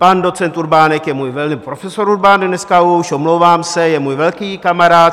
Pan docent Urbánek je můj... pardon, profesor Urbánek dneska už, omlouvám se, je můj velký kamarád.